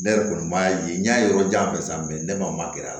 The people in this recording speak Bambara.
Ne yɛrɛ kɔni b'a ye n y'a yɔrɔ jan fɛ ne ma gɛrɛ a la